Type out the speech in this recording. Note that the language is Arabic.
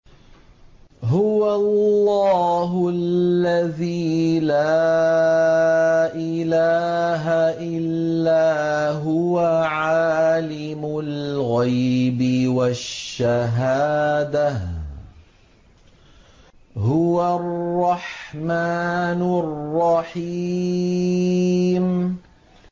هُوَ اللَّهُ الَّذِي لَا إِلَٰهَ إِلَّا هُوَ ۖ عَالِمُ الْغَيْبِ وَالشَّهَادَةِ ۖ هُوَ الرَّحْمَٰنُ الرَّحِيمُ